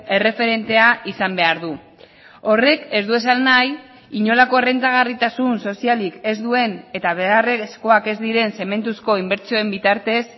erreferentea izan behar du horrek ez du esan nahi inolako errentagarritasun sozialik ez duen eta beharrezkoak ez diren zementuzko inbertsioen bitartez